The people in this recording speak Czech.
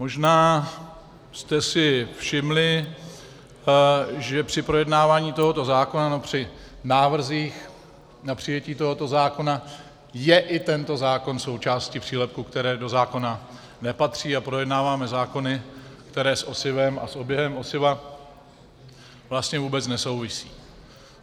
Možná jste si všimli, že při projednávání tohoto zákona nebo při návrzích na přijetí tohoto zákona je i tento zákon součástí přílepků, které do zákona nepatří, a projednáváme zákony, které s osivem a s oběhem osiva vlastně vůbec nesouvisí.